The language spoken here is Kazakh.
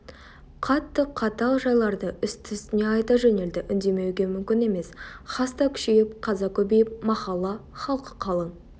қатты қатал жайларды үсті-үстіне айта жөнелді үндемеуге мүмкін емес хаста күшейіп қаза көбейіп махалла халқы қалың